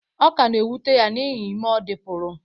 Ọ ka na-ewute ya n’ihi ime ọ dị pụrụ